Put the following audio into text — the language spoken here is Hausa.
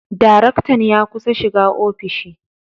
Daraktan ya kusa shiga ofishi.